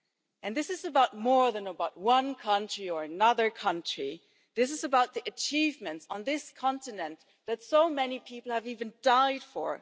And this is about more than one country or another country this is about the achievements on this continent that so many people have even died for.